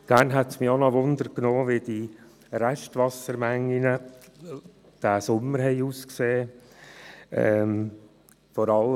Auch würde mich interessieren, wie die Restwassermengen diesen Sommer ausgesehen haben.